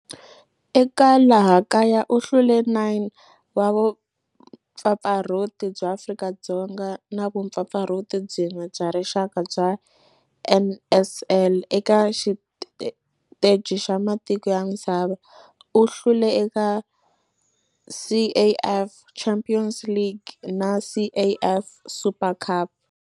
Eka laha kaya u hlule 9 wa vumpfampfarhuti bya Afrika-Dzonga na vumpfampfarhuti byin'we bya rixaka bya NSL. Eka xiteji xa matiko ya misava, u hlule eka CAF Champions League na CAF Super Cup.